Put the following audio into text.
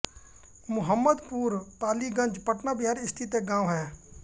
मुहम्मदपुर पालीगंज पटना बिहार स्थित एक गाँव है